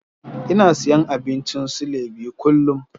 Ina siyan abincin silai biyu kullum.